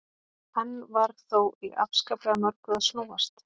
Enn var þó í afskaplega mörgu að snúast.